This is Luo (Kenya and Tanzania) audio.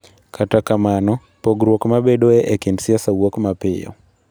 Kata kamano, pogruok mabedoe e kind siasa wuok mapiyo